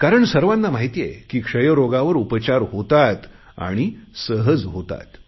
कारण सर्वांना माहित आहे की क्षयरोगावर उपचार होतात आणि सहज होतात